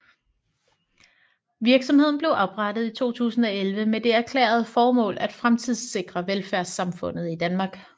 Virksomheden blev oprettet i 2011 med det erklærede formål at fremtidssikre velfærdssamfundet i Danmark